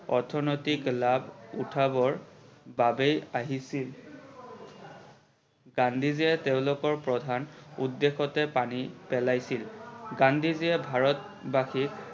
অৰ্থনৈতিক লাভ উঠাবৰ বাবে আহিছিল। গান্ধী জিয়ে তেওলোকৰ প্ৰধান উদ্দেশ্যেতে পানী পেলাইছিল। গান্ধী জিয়ে ভাৰতবাসীক